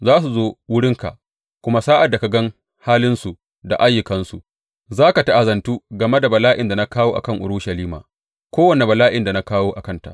Za su zo wurinka, kuma sa’ad da ka gan halinsu da ayyukansu, za ka ta’azantu game da bala’in da na kawo a kan Urushalima kowane bala’in da na kawo a kanta.